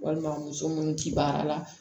Walima muso munnu ti baara la